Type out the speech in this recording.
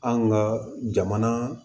Anw ka jamana